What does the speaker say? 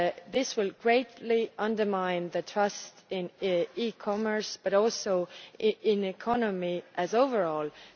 This will greatly undermine the trust in e-commerce, but also in the economy as a whole.